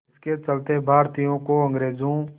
इसके चलते भारतीयों को अंग्रेज़ों